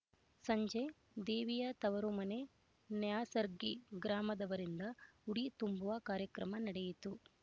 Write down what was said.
ಸಂಜೆ ದೇವಿಯ ತವರುಮನೆ ನ್ಯಾಸರ್ಗಿ ಗ್ರಾಮದವರಿಂದ ಉಡಿ ತುಂಬುವ ಕಾರ್ಯಕ್ರಮ ನಡೆಯಿತು